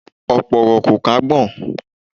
Ọ̀pọ̀ ọ̀rọ̀ kò kún agbọ̀n